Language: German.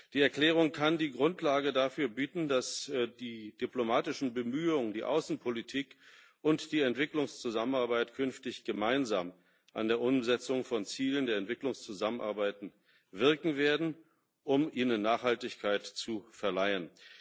Die Erklärung kann die Grundlage dafür bieten, dass die diplomatischen Bemühungen, die Außenpolitik und die Entwicklungszusammenarbeit künftig gemeinsam an der Umsetzung von Zielen der Entwicklungszusammenarbeit wirken werden, um ihnen Nachhaltigkeit zu verleihen.